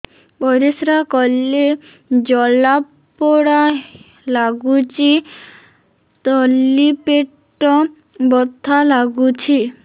ପରିଶ୍ରା କଲେ ଜଳା ପୋଡା ଲାଗୁଚି ତଳି ପେଟ ବଥା ଲାଗୁଛି